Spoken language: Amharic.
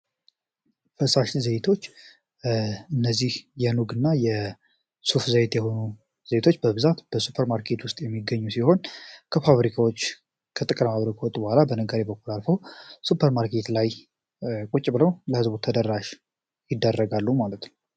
ፈሳሽ ዜይቶች እነዚህ የኑግ እና የሱፍ ዘይት የሆኑ ዜይቶች በብዛት በሱፐርማርኬት ውስጥ የሚገኙ ሲሆን ከፋብሪካዎች ከጥቅረማብሪክወጥ በኋላ በነገሪ በኩል አልፈው ሱፐር ማርኬት ላይ ቁጭ ብለው ለህዝቡት ተደራሽ ይደረጋሉ፡፡